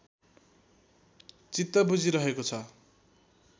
चित्त बुझिरहेको छ